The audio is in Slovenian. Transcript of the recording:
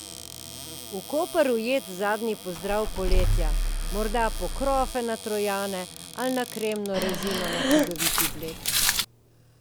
V Koper ujet zadnji pozdrav poletja, morda po krofe na Trojane ali na kremno rezino na čudoviti Bled?